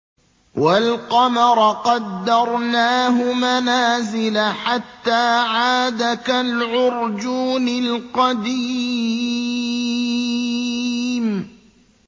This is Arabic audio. وَالْقَمَرَ قَدَّرْنَاهُ مَنَازِلَ حَتَّىٰ عَادَ كَالْعُرْجُونِ الْقَدِيمِ